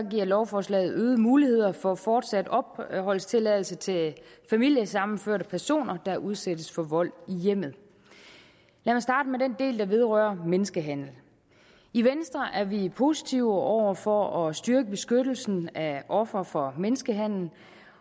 lovforslaget øgede muligheder for fortsat opholdstilladelse til familiesammenførte personer der udsættes for vold i hjemmet jeg vil starte med den del der vedrører menneskehandel i venstre er vi positive over for at styrke beskyttelsen af ofre for menneskehandel